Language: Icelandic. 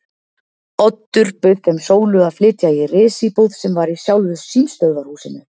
Oddur bauð þeim Sólu að flytja í risíbúð sem var í sjálfu símstöðvarhúsinu.